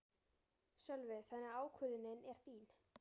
Sölvi: Þannig að ákvörðunin er þín?